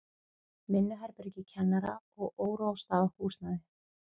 Vinnuherbergi kennara og óráðstafað húsnæði.